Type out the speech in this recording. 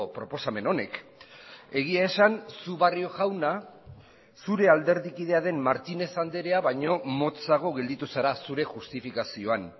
proposamen honek egia esan zu barrio jauna zure alderdi kidea den martínez andrea baino motzago gelditu zara zure justifikazioan